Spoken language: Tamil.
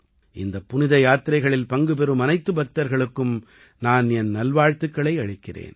இந்தப் புனித யாத்திரைகளில் பங்குபெறும் அனைத்து பக்தர்களுக்கும் நான் என் நல்வாழ்த்துக்களை அளிக்கிறேன்